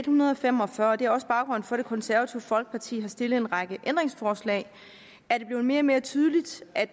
hundrede og fem og fyrre og det er også baggrunden for at det konservative folkeparti har stillet en række ændringsforslag er det blevet mere og mere tydeligt at